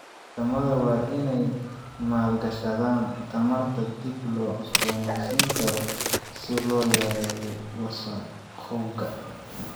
Wadamada waa inay maalgashadaan tamarta dib loo cusboonaysiin karo si loo yareeyo wasakhowga.